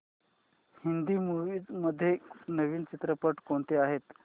Hindi movies मध्ये नवीन चित्रपट कोणते आहेत